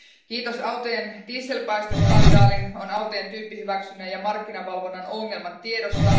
Kiitos autojen dieselpäästöskandaalin on autojen tyyppihyväksynnän ja markkinavalvonnan ongelmat tiedossa.